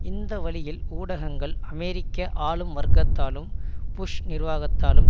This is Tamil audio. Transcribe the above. இந்த வழியில் ஊடகங்கள் அமெரிக்க ஆளும் வர்க்கத்தாலும் புஷ் நிர்வாகத்தாலும்